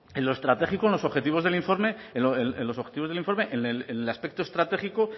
en lo estratégico en los objetivos del informe en el aspecto estratégico